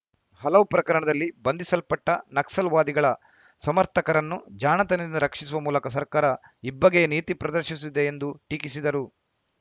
ಹಲವು ಪ್ರಕರಣದಲ್ಲಿ ಬಂಧಿಸಲ್ಪಟ್ಟನಕ್ಸಲ್‌ವಾದಿಗಳ ಸಮರ್ಥಕರನ್ನು ಜಾಣತನದಿಂದ ರಕ್ಷಿಸುವ ಮೂಲಕ ಸರ್ಕಾರ ಇಬ್ಬಗೆಯ ನೀತಿ ಪ್ರದರ್ಶಿಸುತ್ತಿದೆ ಎಂದು ಟೀಕಿಸಿದರು